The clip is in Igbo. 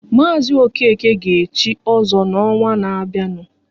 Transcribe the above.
Mazi Okeke ga echi ozo n'ọnwa ná-bịanụ